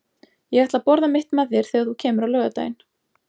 Ég ætla að borða mitt með þér þegar þú kemur á laugardaginn.